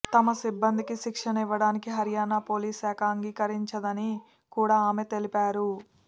తమ సిబ్బందికి శిక్షణ ఇవ్వడానికి హర్యానా పోలీసు శాఖ అంగీకరించదని కూడా ఆమె తెలిపారు